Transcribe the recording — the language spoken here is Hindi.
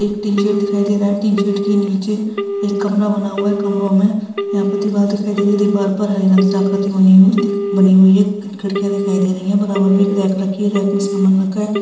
एक टिन शेड दिखाई दे रहा है| टिन शेड के नीचे एक कमरा बना हुआ है| कमरों में यहां पर दीवार दिखाई दे रही है| दीवार पर हरे रंग की आकृति बनी हुई दिख बनी हुई है| खिड़कियां दिखाई दे रही है| बराबर में एक रैक रखी है| रैक में सामान रखा है।